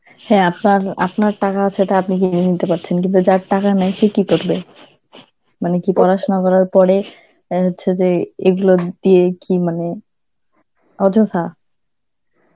হ্যাঁ আপনার~ আপনার টাকা আছে, তা আপনি কিনে নিতে পারছেন, কিন্তু যার টাকা নেই সে কি করবে? মানে কি পড়াশোনা করার পরে, এ হচ্ছে যে এইগুলো দিয়ে কি মানে, অযথা